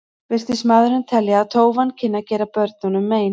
Virtist maðurinn telja að tófan kynni að gera börnunum mein.